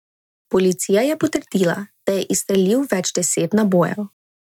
Policija je potrdila, da je izstrelil več deset nabojev.